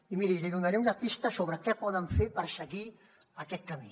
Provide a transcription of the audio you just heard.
i miri li donaré una pista sobre què poden fer per seguir aquest camí